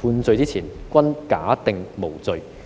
判罪之前均假定無罪"。